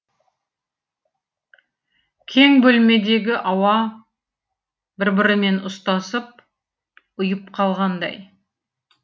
кең бөлмедегі ауа бір бірімен ұстасып ұйып қалғандай